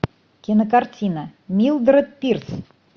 кинокартина милдред пирс